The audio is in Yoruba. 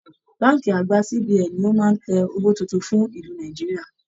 Bánkì àgbà CBN ní o máa n tẹ̀ owó títún fún ìlú Nàìjíríà